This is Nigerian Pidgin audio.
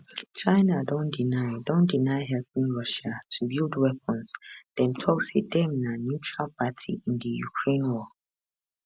china don deny don deny helping russia to build weapons dem tok say dem na neutral party in di ukraine war